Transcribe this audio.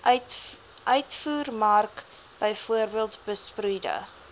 uitvoermark bv besproeide